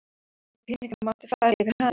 Engir peningar máttu fara yfir hafið.